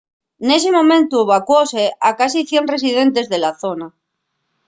nesi momentu evacuóse a casi 100 residentes de la zona